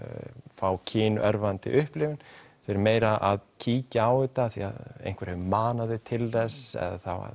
fá kynörvandi upplifun þau eru meira að kíkja á þetta af því að einhver hefur manað þau til þess eða